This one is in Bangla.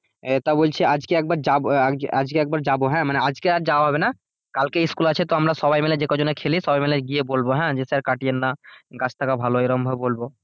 তা বলছি আজকে একবার যাব আজ আজকে একবার যাব হ্যাঁ মানে আজকে আর যাওয়া হবে না কালকে স্কুল আছে তো আমরা সবাই মিলে যে কজনএ খেলি সবাই মিলে গিয়ে বলবো হ্যাঁ যে স্যার কাটেন না গাছ থাকা ভালো এরকম ভাবে বলবো